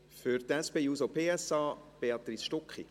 Für die SP-JUSO-PSA-Fraktion spricht Béatrice Stucki.